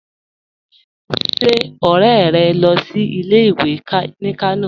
Ṣé ọ̀rẹ́ rẹ̀ ń lọ sí ilẹ̀-ìwé ní Kànò?